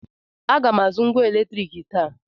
Aga m azụ ngwá eletriiki taa.